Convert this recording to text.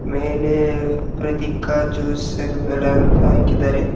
ಮೇಲೆ ಪ್ರತಿಕ ಜ್ಯುಸ್ ವೆಲಾ ಅಂತ ಹಾಕಿದಾರೆ.